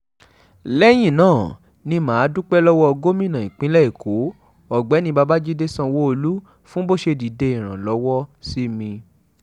lẹ́yìn náà ni mà á dúpẹ́ lọ́wọ́ gómìnà ìpínlẹ̀ èkó ọ̀gbẹ́ni babájídé sanwóolu fún bó ṣe dìde ìrànlọ́wọ́ sí mi